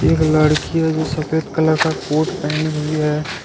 एक लड़की है जो सफेद कलर का कोट पहनी हुई है।